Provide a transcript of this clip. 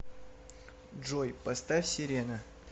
джой поставь серена